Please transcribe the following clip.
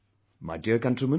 My dear countrymen